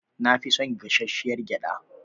Na fi son gashashshiyar gyada.